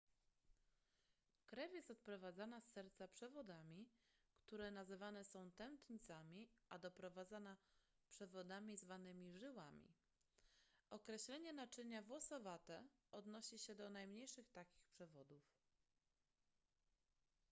krew jest odprowadzana z serca przewodami które nazywane są tętnicami a doprowadzana przewodami zwanymi żyłami określenie naczynia włosowate odnosi się do najmniejszych takich przewodów